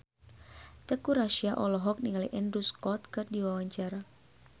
Teuku Rassya olohok ningali Andrew Scott keur diwawancara